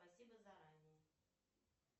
спасибо заранее